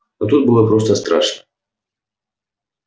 но тут было просто страшно